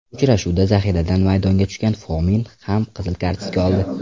Uchrashuvda zahiradan maydonga tushgan Fomin ham qizil kartochka oldi.